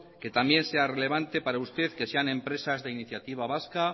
que también será relevante para usted que sean empresas de iniciativa vasca